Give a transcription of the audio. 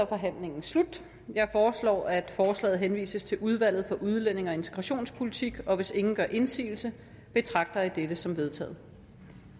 forhandlingen slut jeg foreslår at forslaget henvises til udvalget for udlændinge og integrationspolitik og hvis ingen gør indsigelse betragter jeg dette som vedtaget